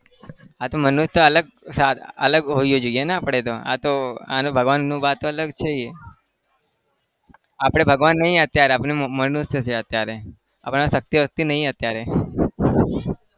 હા તો મનુષ્ય અલગ સાધા અલગ હોવા જોઈએ ને આપણે તો આ તો આનું ભગવાનનું વાત અલગ છીએ. આપણે ભગવાન નહિ અત્યારે આપણે મનુષ્ય છીએ. આપણા પાસે શક્તિ-વક્તિ નહિ અત્યારે